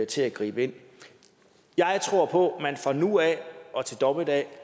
til at gribe ind jeg tror på at man fra nu af og til dommedag